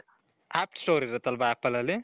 app store ಇರ್ಬೇಕಲ್ವಾ ? apple ಅಲ್ಲಿ .